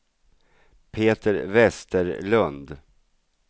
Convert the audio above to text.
Peter Vesterlund